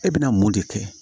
E bɛna mun de kɛ